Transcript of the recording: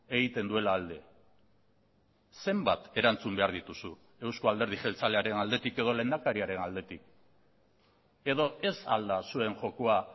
egiten duela alde zenbat erantzun behar dituzu eusko alderdi jeltzalearen aldetik edo lehendakariaren aldetik edo ez al da zuen jokoa